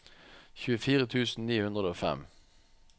tjuefire tusen ni hundre og fem